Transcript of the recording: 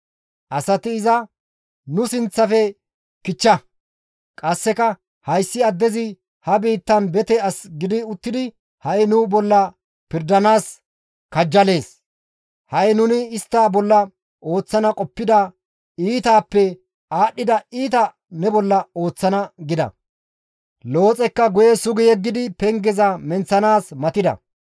Asati iza, «Nu sinththafe kichcha!» qasseka, «Hayssi addezi ha biittan bete as gidi uttidi ha7i nu bolla pirdanaas kajjalees; ha7i nuni istta bolla ooththana qoppida iitaappe aadhdhida iita ne bolla ooththana» gida. Looxekka guye sugi yeggidi pengeza menththanaas matida.